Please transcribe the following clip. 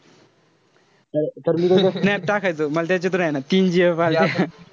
तर मी त्याच्यात snap टाकायचो. मला त्याच्यात ए ना तीन gf आल्या.